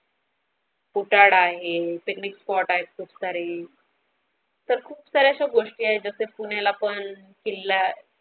कोठार आहे picnic spot आहे खूप सारे तर खूप साऱ्या असं गोष्टी आहे जसें पुण्याला पण किल्ला.